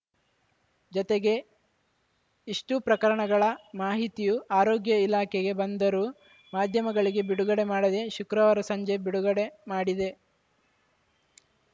ಜತೆಗೆ ಇಷ್ಟೂಪ್ರಕರಣಗಳ ಮಾಹಿತಿಯು ಆರೋಗ್ಯ ಇಲಾಖೆಗೆ ಬಂದರೂ ಮಾಧ್ಯಮಗಳಿಗೆ ಬಿಡುಗಡೆ ಮಾಡದೆ ಶುಕ್ರವಾರ ಸಂಜೆ ಬಿಡುಗಡೆ ಮಾಡಿದೆ